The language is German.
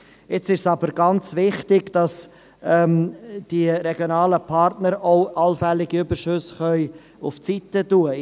Es ist jetzt ganz wichtig, dass die regionalen Partner allfällige Überschüsse beiseitelegen können.